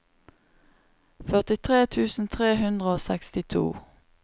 førtitre tusen tre hundre og sekstito